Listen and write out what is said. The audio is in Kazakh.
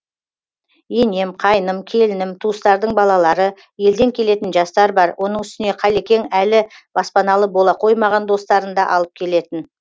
енем қайным келінім туыстардың балалары елден келетін жастар бар оның үстіне қалекең әлі баспаналы бола қоймаған достарын да алып келетін